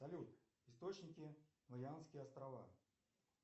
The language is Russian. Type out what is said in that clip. салют источники марианские острова